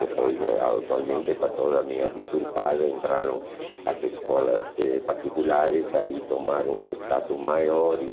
Depois é, atualmente está toda meio deturpada, entraram as escolas eh particulares, aí tomaram um status maior e.